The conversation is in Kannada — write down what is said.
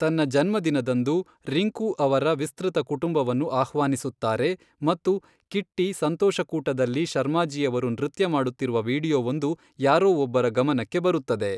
ತನ್ನ ಜನ್ಮದಿನದಂದು, ರಿಂಕು ಅವರ ವಿಸ್ತೃತ ಕುಟುಂಬವನ್ನು ಆಹ್ವಾನಿಸುತ್ತಾರೆ ಮತ್ತು ಕಿಟ್ಟಿ ಸಂತೋಷಕೂಟದಲ್ಲಿ ಶರ್ಮಾಜಿಯವರು ನೃತ್ಯ ಮಾಡುತ್ತಿರುವ ವೀಡಿಯೊವೊಂದು ಯಾರೋ ಒಬ್ಬರ ಗಮನಕ್ಕೆ ಬರುತ್ತದೆ.